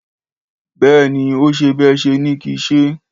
Béèni, ọ sẹ bẹ sẹ ni kísẹ